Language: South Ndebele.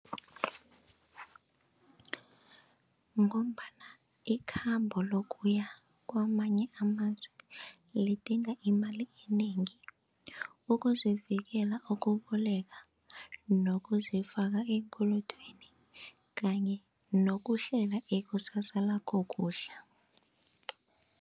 Ngombana ikhambo lokuya kwamanye amazwe lidinga imali enengi ukuzivikela, ukuboleka nokuzifaka eenkolodweni kanye nokuhlela ikusasa lakho kuhle.